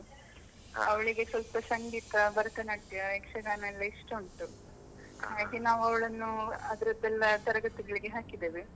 ಸ್ವಲ್ಪ ಸಂಗೀತ, ಭರತನಾಟ್ಯ, ಯಕ್ಷಗಾನ ಎಲ್ಲ ಇಷ್ಟ ಉಂಟು ಹಾಗೆ ನಾವು ಅವಳನ್ನು ಅದರದ್ದೆಲ್ಲ ತರಗತಿಗಳಿಗೆ ಹಾಕಿದ್ದೇವೆ.